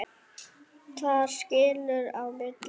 Þar skilur á milli.